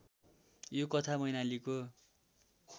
यो कथा मैनालीको